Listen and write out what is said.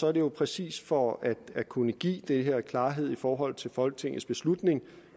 er det jo præcis for at kunne give det her klarhed i forhold til folketingets beslutning